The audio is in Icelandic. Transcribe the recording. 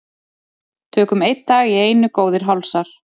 Tökum einn dag í einu góðir hálsar.